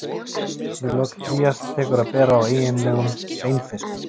við lok trías tekur að bera á eiginlegum beinfiskum